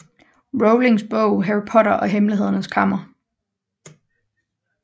Rowlings bog Harry Potter og Hemmelighedernes Kammer